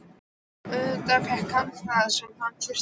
Og auðvitað fékk hann það sem hann þurfti.